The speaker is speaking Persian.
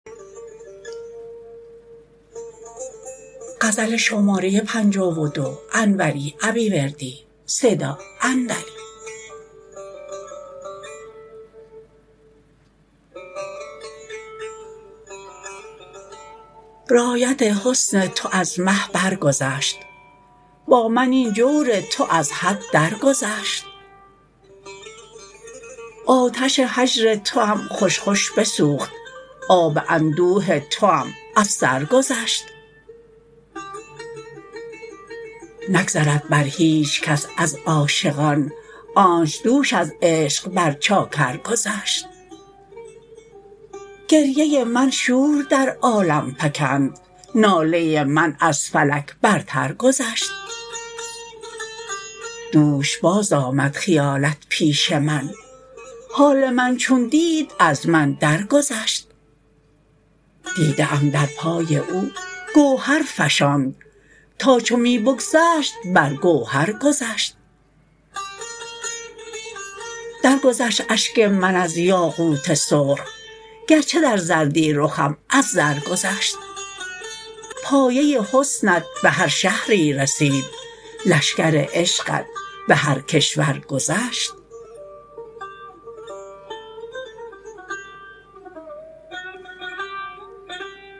رایت حسن تو از مه برگذشت با من این جور تو از حد درگذشت آتش هجر توام خوش خوش بسوخت آب اندوه توام از سر گذشت نگذرد بر هیچ کس از عاشقان آنچ دوش از عشق بر چاکر گذشت گریه من شور در عالم فکند ناله من از فلک برتر گذشت دوش باز آمد خیالت پیش من حال من چون دید از من درگذشت دیده ام در پای او گوهر فشاند تا چو می بگذشت بر گوهر گذشت درگذشت اشک من از یاقوت سرخ گرچه در زردی رخم از زر گذشت پایه حسنت به هر شهری رسید لشکر عشقت به هر کشور گذشت